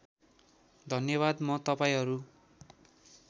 धन्यवाद म तपाईँहरू